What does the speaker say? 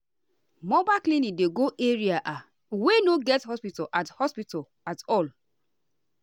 mobile clinic dey go areaah wey no get hospital at hospital at all.